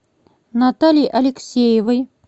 натальи алексеевой